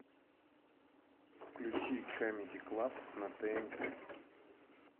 включи камеди клаб на тнт